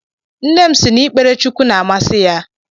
Nnem si na ikpere Chukwu na-amasi ya